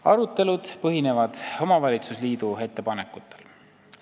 Arutelud põhinevad omavalitsusliidu ettepanekutel.